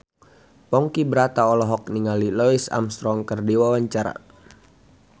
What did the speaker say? Ponky Brata olohok ningali Louis Armstrong keur diwawancara